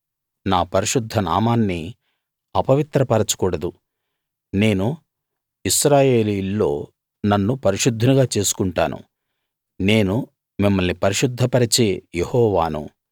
నా పరిశుద్ధ నామాన్ని అపవిత్రపరచకూడదు నేను ఇశ్రాయేలీయుల్లో నన్ను పరిశుద్ధునిగా చేసుకుంటాను నేను మిమ్మల్ని పరిశుద్ధ పరిచే యెహోవాను